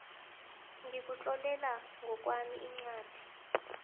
ngikutlolela ngokwami incwadi